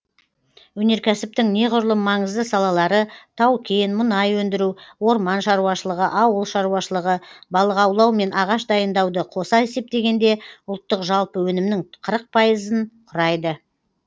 өнеркәсіптің неғұрлым маңызды салалары тау кен мұнай өндіру орман шаруашылығы ауыл шаруашылығы балық аулау мен ағаш дайындауды қоса есептегенде ұлттық жалпы өнімнің қырық пайызын құрайды